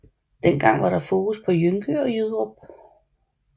Dengang var der fokus på Jønke og Jyderup